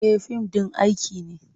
E, fim ɗin aiki ne.